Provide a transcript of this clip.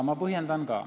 Ma põhjendan ka.